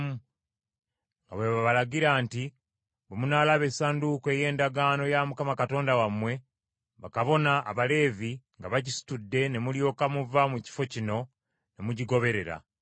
nga bwe babalagira nti, “Bwe munaalaba Essanduuko ey’Endagaano ya Mukama Katonda wammwe, bakabona Abaleevi nga bagisitudde ne mulyoka muva mu kifo kino ne mugigoberera,